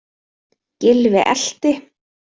Gylfi elti.